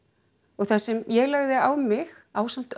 og það sem ég lagði á mig ásamt